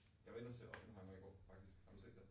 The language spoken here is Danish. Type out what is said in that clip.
Jeg var inde og se Oppenheimer i går, faktisk. Har du set den?